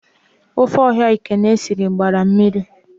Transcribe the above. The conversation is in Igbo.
Ofe ọha Ekene sịrị gbara mmiri